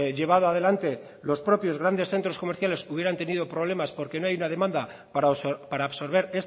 llevado adelante los propios grandes centros comerciales hubieran tenido problemas porque no hay una demanda para absorber